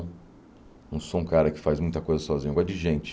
Não sou um cara que faz muita coisa sozinho, eu gosto de gente.